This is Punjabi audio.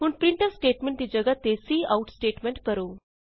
ਹੁਣ ਪ੍ਰਿੰਟਫ ਸਟੇਟਮੈਂਟ ਦੀ ਜਗਾ੍ਹ ਤੇ ਕਾਉਟ ਸਟੇਟਮੈਂਟ ਕਰੋ